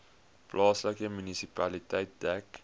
plaaslike munisipaliteit dek